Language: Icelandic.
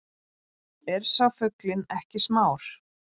Er sá fuglinn ekki smár